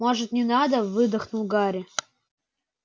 может не надо выдохнул гарри